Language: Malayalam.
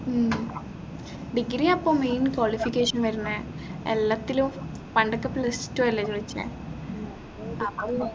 ഉം degree അപ്പോ main qualification വരുന്നേ എല്ലത്തിലും പണ്ടൊക്കെ plus two അല്ലെ ചോദിച്ചേ